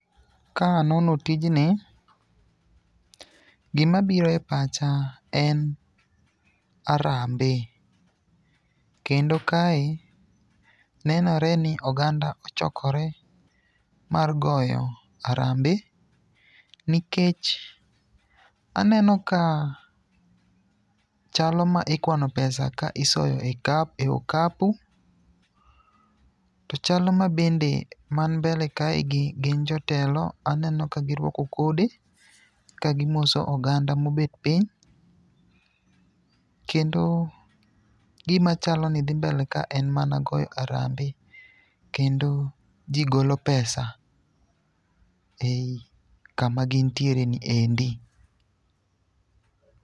Ka anono tijni, gimabiro e pacha en arambe, kendo kae nenore ni oganda ochokore mar yogo arambe nikech aneno ka chalo ma ikwano pesa ka isoyo e okapu, to chalo mabende man mbele kaegi gin jotelo. Aneno ka girwako kode kagimoso oganda mobet piny. Kendo gimachalo ni dhi mbele ka en mana goyo arambe, kendo ji golo pesa ei kama gintiereni endi.